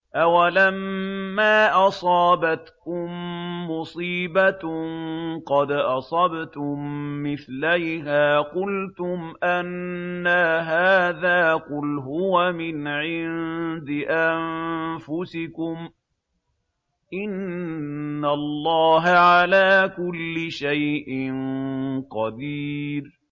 أَوَلَمَّا أَصَابَتْكُم مُّصِيبَةٌ قَدْ أَصَبْتُم مِّثْلَيْهَا قُلْتُمْ أَنَّىٰ هَٰذَا ۖ قُلْ هُوَ مِنْ عِندِ أَنفُسِكُمْ ۗ إِنَّ اللَّهَ عَلَىٰ كُلِّ شَيْءٍ قَدِيرٌ